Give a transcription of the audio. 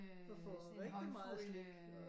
Og får rigtig meget slik